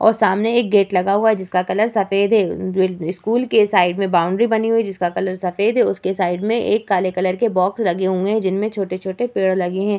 और सामने एक गेट लगा हुआ है जिसका कलर सफ़ेद है स्कूल के साइड में बाउंड्री बनी हुई है जिसका कलर सफ़ेद है उसके साइड में एक काला कलर के बॉक्स लगे हुए है जिनमे छोटे-छोटे पेड़ लगे है ।